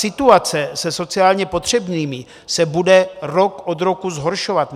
Situace se sociálně potřebnými se bude rok od roku zhoršovat.